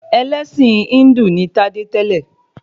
Ẹlẹ́ṣin Híndù ni Tádé tẹ́lẹ̀